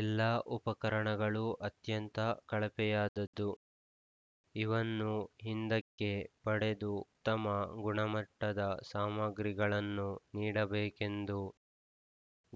ಎಲ್ಲಾ ಉಪಕರಣಗಳು ಅತ್ಯಂತ ಕಳಪೆಯದ್ದಾದ್ದು ಇವನ್ನು ಹಿಂದಕ್ಕೆ ಪಡೆದು ತ್ತಮ ಗುಣಮಟ್ಟದ ಸಾಮಾಗ್ರಿಗಳನ್ನು ನೀಡಬೇಕೆಂದು